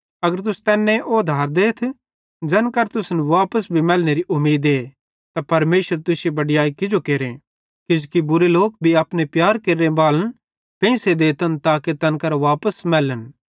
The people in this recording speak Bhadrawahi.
अगर तुस तैन्ने ओधार देतथ ज़ैन करां तुसन वापस भी मैलनेरी उमीदे त परमेशर तुश्शी बड़याई किजो केरे किजोकि बुरे लोक भी अपने प्यार केरनेबालन पेंइसे देतन ताके तैन करां वापस मैलन